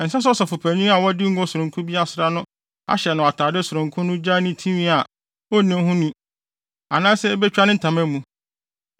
“ ‘Ɛnsɛ sɛ ɔsɔfopanyin a wɔde ngo sononko bi asra no ahyɛ no atade sononko no gyaa ne tinwi a onni no ni anaasɛ ebetwa ne ntama mu.